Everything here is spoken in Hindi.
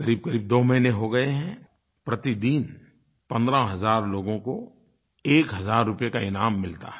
क़रीबक़रीब दो महीने हो गये हैं प्रतिदिन 15 हज़ार लोगों को एक हज़ार रुपये का इनाम मिलता है